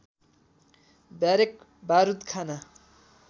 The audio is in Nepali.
ब्यारेक बारुद खाना